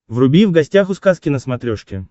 вруби в гостях у сказки на смотрешке